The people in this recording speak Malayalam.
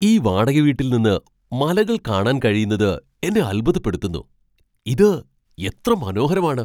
ഈ വാടകവീട്ടിൽ നിന്ന് മലകൾ കാണാൻ കഴിയുന്നത് എന്നെ അൽഭുതപ്പെടുത്തുന്നു. ഇത് എത്ര മനോഹരമാണ് !